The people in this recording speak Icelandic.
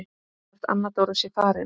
Hvort Anna Dóra sé farin.